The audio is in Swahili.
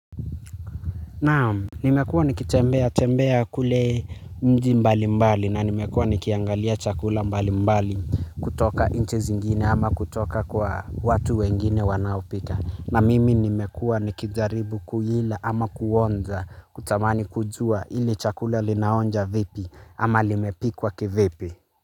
Naam, nimekuwa nikitembea tembea kule mji mbalimbali na nimekuwa nikiangalia chakula mbalimbali. Kutoka inchi zingine ama kutoka kwa watu wengine wanaopika na mimi nimekuwa nikijaribu kula ama kuonja kutamani kujua ili chakula linaonja vipi ama limepikwa kivipi.